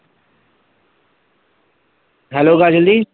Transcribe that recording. hello Kajal the